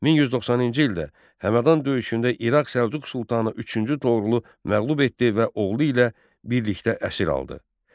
1190-cı ildə Həmədan döyüşündə İraq Səlcuq Sultanı üçüncü Doğrulu məğlub etdi və oğlu ilə birlikdə əsir aldı.